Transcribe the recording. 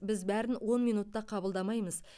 біз бәрін он минутта қабылдамаймыз